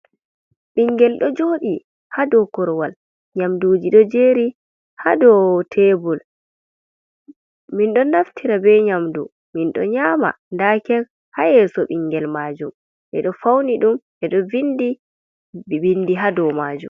Bingel do jodi hado korowal nyamduji do jeri hado tebul, min do naftira be nyamdu min do nyama, da kek ha yeso bingel majum be do fauni dum bedo vindi bindi ha do majum.